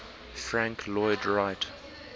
frank lloyd wright